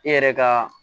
E yɛrɛ ka